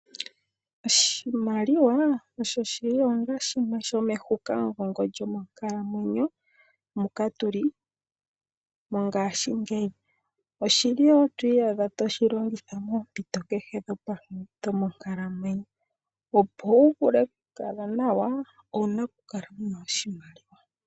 Oshimaliwa oshoshiilonga shimwe shomehukamugongo lyomonkalamwenyo muka tuli mongashingeyi, oshili woo twiiyadha toshi longitha moompito kehe dhonkalamwenyo, opo wu vule kukala nawa owuna kukala wuna oshimaliwa.